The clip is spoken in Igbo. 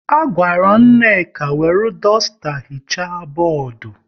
A gwara Nneka wéré dusta hichaa bọọdụ